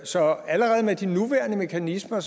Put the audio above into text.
så allerede med de nuværende mekanismer